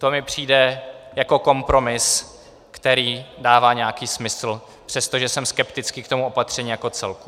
To mi přijde jako kompromis, který dává nějaký smysl, přestože jsem skeptický k tomu opatření jako celku.